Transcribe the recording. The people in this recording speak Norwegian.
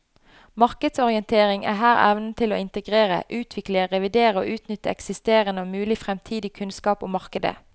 Markedsorientering er her evnen til å integrere, utvikle, revidere og utnytte eksisterende og mulig fremtidig kunnskap om markedet.